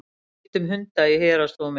Deilt um hunda í héraðsdómi